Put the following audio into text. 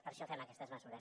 per això fem aquestes mesures